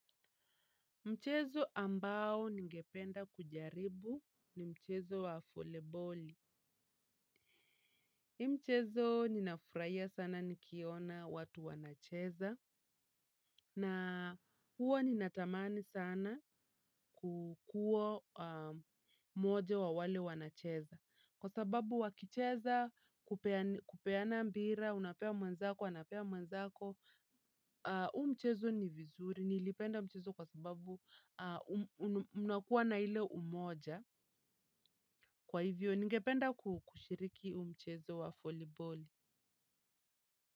Mchezo ambao ningependa kujaribu ni mchezo wa voli boli. Hii mchezo ninafurahia sana nikiona watu wanacheza. Na huwa ninatamani sana kukua mmoja wa wale wanacheza. Kwa sababu wakicheza kupeana mpira unapea mwenzako, anapea mwenzako huu mchezo ni vizuri, nilipenda mchezo kwa sababu unakuwa na ile umoja. Kwa hivyo, ningependa kushiriki huu mchezo wa voli boli.